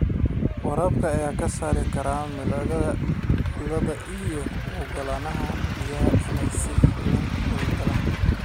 Waraabka ayaa ka saari kara milixda ciidda iyadoo u oggolaanaysa biyaha inay si fiican u galaan.